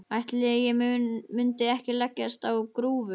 Ætli ég mundi ekki leggjast á grúfu.